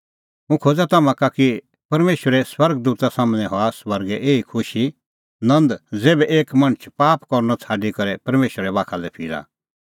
हुंह खोज़ा तम्हां का कि परमेशरे स्वर्ग दूता सम्हनै हआ स्वर्गै एही ई खुशी नंद ज़ेभै एक मणछ पाप करनअ छ़ाडी करै परमेशरा बाखा लै फिरा